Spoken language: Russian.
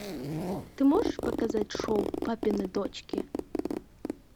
ты можешь показать шоу папины дочки